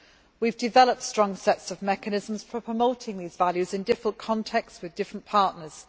We have developed strong sets of mechanisms for promoting these values in different contexts with different partners